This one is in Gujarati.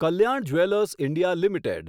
Kalyan jewellers India limited